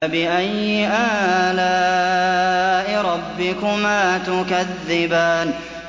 فَبِأَيِّ آلَاءِ رَبِّكُمَا تُكَذِّبَانِ